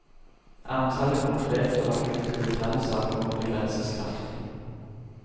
Antallet konkrete og akutte detaljsaker må begrenses kraftig.